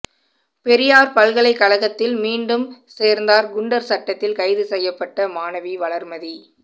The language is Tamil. பெரியார் பல்கலை கழகத்தில் மீண்டும் சேர்ந்தார் குண்டர் சட்டத்தில் கைது செய்யப்பட்ட மாணவி வளர்மதி